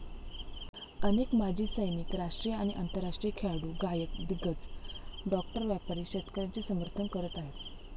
अनेक माजी सैनिक, राष्ट्रीय आणि आंतरराष्ट्रीय खेळाडू, गायक, दिग्गज, डॉक्टर, व्यापारी शेतकऱ्यांचं समर्थन करत आहेत.